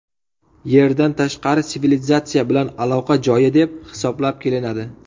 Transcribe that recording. Yerdan tashqari sivilizatsiya bilan aloqa joyi deb hisoblab kelinadi.